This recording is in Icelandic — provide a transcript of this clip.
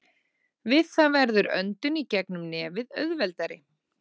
Við það verður öndun í gegnum nefið auðveldari.